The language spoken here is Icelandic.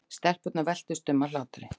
Stelpurnar veltust um af hlátri.